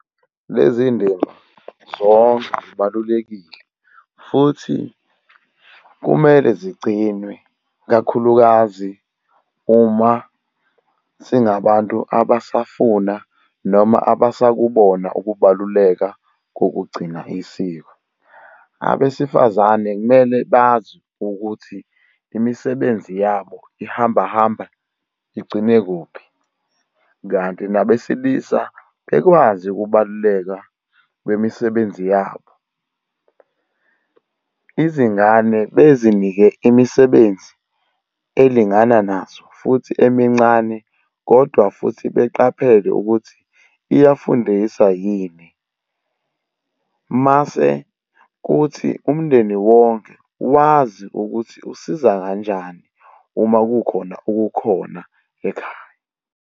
Lezi ndima zonke zibalulekile futhi kumele zigcinwe, ikakhulukazi uma singabantu abasafuna noma abasakubona ukubaluleka kokugcina isiko. Abesifazane kumele bazi ukuthi imisebenzi yabo ihamba hamba igcine kuphi? Kanti nabesilisa bekwazi ukubaluleka bemisebenzi yabo. Izingane bezinike imisebenzi elingana nazo futhi emincane, kodwa futhi beqaphele ukuthi iyafundisa yini? Mase kuthi umndeni wonke wazi ukuthi usiza kanjani uma kukhona okukhona ekhaya.